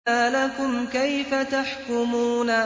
مَا لَكُمْ كَيْفَ تَحْكُمُونَ